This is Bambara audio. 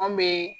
An bɛ